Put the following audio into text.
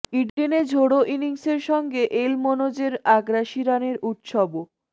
ইডেনে ঝোড়ো ইনিংসের সঙ্গে এল মনোজের আগ্রাসী রানের উৎসবও